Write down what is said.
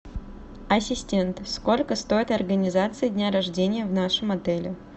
ассистент сколько стоит организация дня рождения в нашем отеле